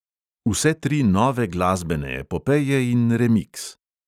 Vse tri nove glasbene epopeje in remiks.